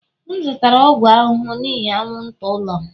M zụtara ọgwụ ahụhụ n'ihi anwụnta n'ụlọ m